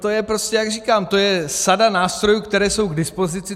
To je prostě, jak říkám, to je sada nástrojů, které jsou k dispozici.